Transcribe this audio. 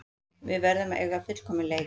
Við verðum að eiga fullkominn leik